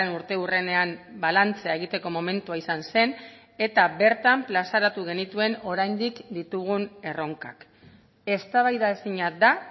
urteurrenean balantzea egiteko momentua izan zen eta bertan plazaratu genituen oraindik ditugun erronkak eztabaidaezina da